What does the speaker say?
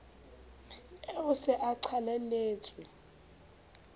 eo o se o qalelletse